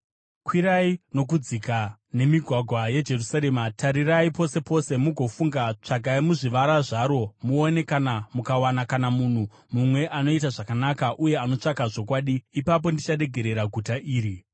“Kwirai nokudzika nemigwagwa yeJerusarema, tarirai pose pose mugofunga, tsvakai muzvivara zvaro muone kana mukawana kana munhu mumwe anoita zvakanaka uye anotsvaka zvokwadi, ipapo ndicharegerera guta iri.